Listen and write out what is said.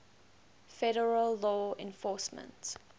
federal law enforcement